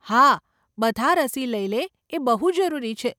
હા બધા રસી લઇ લે એ બહુ જરૂરી છે.